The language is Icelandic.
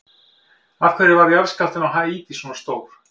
Af hverju varð jarðskjálftinn á Haítí svona stór?